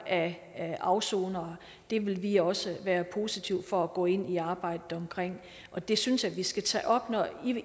af afsonere vil vi også være positive over for at gå ind i arbejdet med og det synes jeg vi skal tage op